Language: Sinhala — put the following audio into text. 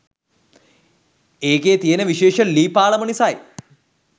ඒකෙ තියෙන විශේෂ ලී පාලම නිසයි.